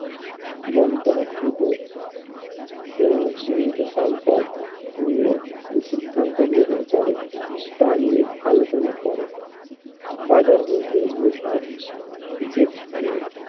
বন্টন অকৃত আহ সীমিত সম্পদ নিয়ে সিদ্ধান্ত গ্রহণ করে তা নিয়ে আলোচনা করে বাজার বলতে বোঝায় যেখানে